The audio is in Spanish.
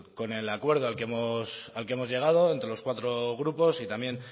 con el acuerdo al que hemos llegado entre los cuatro grupos y también